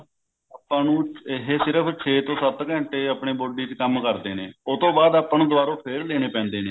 ਆਪਾਂ ਨੂੰ ਇਹ ਸਿਰਫ ਛੇ ਤੋਂ ਸੱਤ ਘੰਟੇ ਆਪਨੇ body ਚ ਕੰਮ ਕਰਦੇ ਨੇ ਉਹ ਤੋਂ ਬਾਅਦ ਆਪਾਂ ਨੂੰ ਦੁਬਾਰੋ ਫੇਰ ਲੇਨੇ ਪੈਂਦੇ ਨੇ